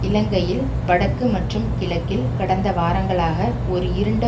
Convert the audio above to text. இலங்கையில் வடக்கு மற்றும் கிழக்கில் கடந்த வாரங்களாக ஒரு இருண்ட